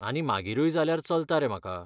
आनी मागीरूय जाल्यार चलता रे म्हाका.